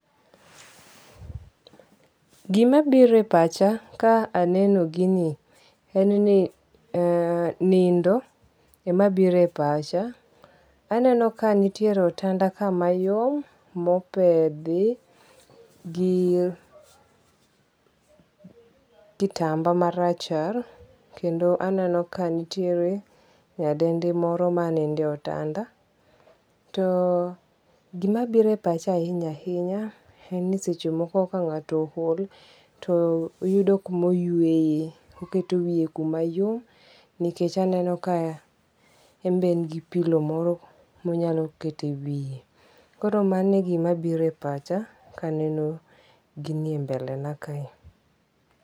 Gima biro e pacha ka aneno gini en ni ee nindo ema biro epacha. Aneno ka nitiere otanda ka mayom mopedhi gi kitamba marachar kendo aneno ka nitiere nyadendi moro manindo e otanda. To gima biro e pacha ahinya ahinya en ni seche moko kang'ato ool to yudo kumoyueye. Oketo wiye kuma yom nikech aneno ka en be en gi pilo moro monyalo kete wiye. Koro mano e gima biro e pacha kaneno gini e mbelena kae.